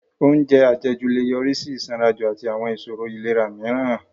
Oúnjẹ àjẹjù lè yọrí sí ìsanranjù àti àwọn ìṣòro ìlera mìíràn